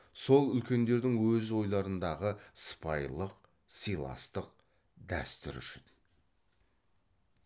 сол үлкендердің өз ойларындағы сыпайылық сыйластық дәстүр үшін